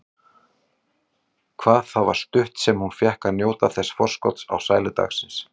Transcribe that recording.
Hvað það var stutt sem hún fékk að njóta þessa forskots á sælu dagsins.